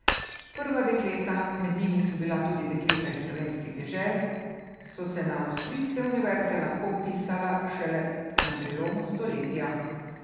Prva dekleta, med njimi so bila tudi dekleta iz slovenskih dežel, so se na avstrijske univerze lahko vpisala šele na prelomu stoletja.